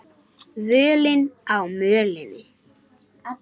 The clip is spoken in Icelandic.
Völin á mölinni